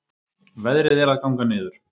Veðrið er að ganga niður